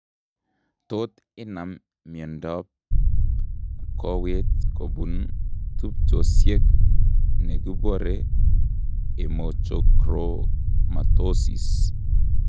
Tot inam miondab kowet kobun tubchosiek nekuboree hemochromatosis